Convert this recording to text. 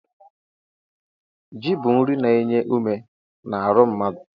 Ji bụ nri na-enye ume n'aru mmadụ.